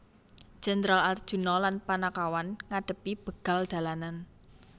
Jendral Arjuna lan Panakawan ngadhepi begal dalanan